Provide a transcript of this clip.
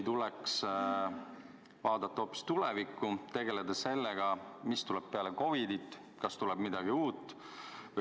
Tuleks vaadata hoopis tulevikku, tegeleda sellega, mis tuleb peale COVID-it – kas tuleb midagi uut.